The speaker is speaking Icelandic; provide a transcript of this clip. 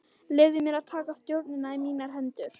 Leyfði mér að taka stjórnina í mínar hendur.